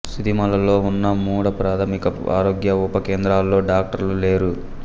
సూదిమల్లలో ఉన్న మూడు ప్రాథమిక ఆరోగ్య ఉప కేంద్రాల్లో డాక్టర్లు లేరు